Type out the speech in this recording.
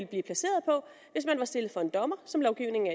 blive placeret på hvis man var stillet for en dommer som lovgivningen